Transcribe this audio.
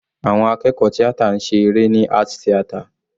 Àwọn akẹ́kọ̀ọ́ tíátà ń ṣe eré ní art theater.